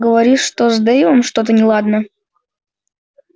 говоришь что с дейвом что-то неладно